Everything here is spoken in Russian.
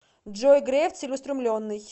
джой греф целеустремленный